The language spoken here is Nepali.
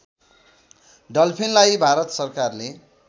डल्फिनलाई भारत सरकारले